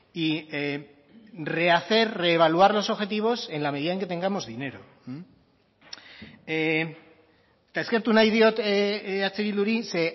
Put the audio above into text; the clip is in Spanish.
y rehacer reevaluar los objetivos en la medida en que tengamos dinero eta eskertu nahi diot eh bilduri ze